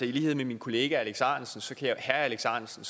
i lighed med min kollega herre alex ahrendtsen